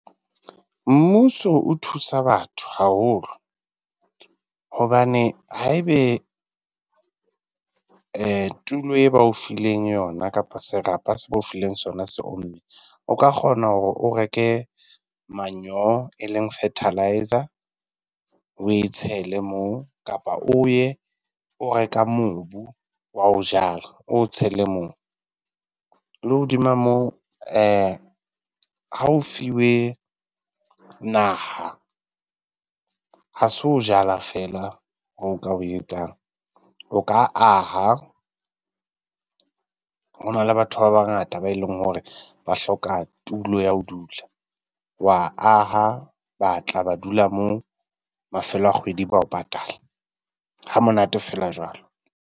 Mmuso o thusa batho haholo. Hobane ha ebe tulo e ba o fileng yona kapa serapa se ba o fileng sona se omme, o ka kgona hore o reke manure eleng fertelizer, o e tshele moo kapa o ye o reka mobu wa ho jala o o tshele moo. Le hodima moo ha o fiwe naha ha se ho jala feela ho o ka ho etsang. O ka aha, ho na le batho ba bangata ba e leng hore ba hloka tulo ya ho dula, wa aha ba tla ba dula moo mafelo a kgwedi ba o patala. Ha monate feela jwalo.